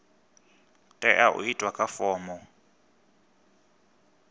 tea u itwa kha fomo